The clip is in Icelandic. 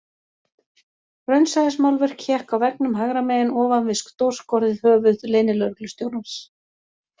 Raunsæismálverk hékk á veggnum hægra megin ofan við stórskorið höfuð leynilögreglustjórans